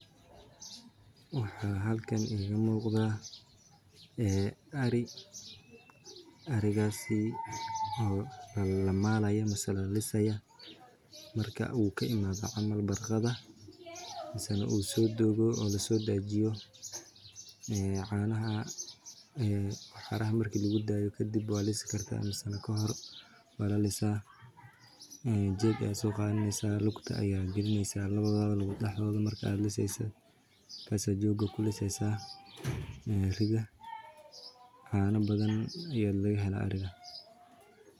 Waxaan halkan iiga muuqda ari oo la maalayo marka uu ka imaado barqada oo lasoo dajiyo inta waxaraha lagu daynin waa la lisaa lawada lug lawa dexdooda ayaa lagaliyaa waa la maala.